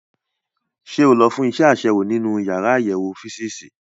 Ṣé o lọ fún iṣẹ́ àṣewò nínú yàrá àyẹ̀wò físììsì?